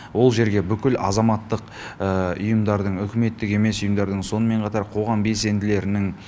ол жерге бүкіл азаматтық ұйымдардың үкіметтік емес ұйымдардың сонымен қатар қоғам белсенділерінің